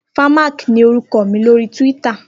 Fèmák ni órúkò mi lóri túwìtá